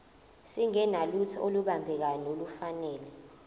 singenalutho olubambekayo nolufanele